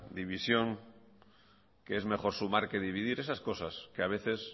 división que es mejor sumar que dividir esas cosas que a veces